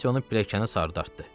Kassi onu pilləkənə sarı dartdı.